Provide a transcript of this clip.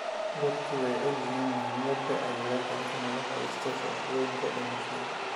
Dadku way ogyihiin muhiimadda ay leedahay in la haysto shahaadooyinka dhimashada.